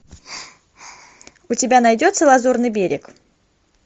у тебя найдется лазурный берег